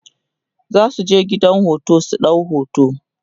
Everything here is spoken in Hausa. zasuje gidan hoto su ɗau hoto